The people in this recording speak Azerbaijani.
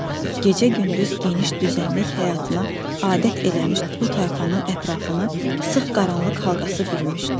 Gecə-gündüz geniş düzənlik həyatına adət eləmiş bu tayfanın ətrafını sıx qaranlıq halqası bürümüşdü.